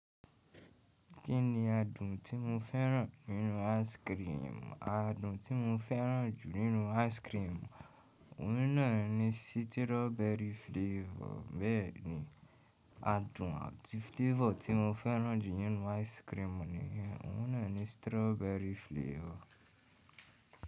Kí ni adùn tí mo fẹ́ràn nínú ice cream? Adùn tí mo fẹ́ràn jù nínú ice cream, òun náà ni strawberry flavor. Bẹ́ẹ̀ ni, adùn àti flavor tí mo fẹ́ràn jù nínú ice cream niyen, òun náà ni strawberry flavor.